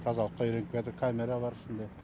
тазалыққа үйреніп келатыр камера бар үстінде